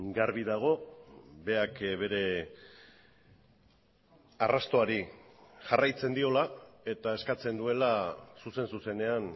garbi dago berak bere arrastoari jarraitzen diola eta eskatzen duela zuzen zuzenean